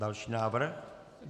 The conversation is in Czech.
Další návrh.